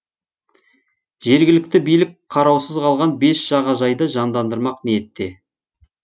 жергілікті билік қараусыз қалған бес жағажайды жандандырмақ ниетте